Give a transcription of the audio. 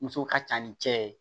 Muso ka ca ni cɛ ye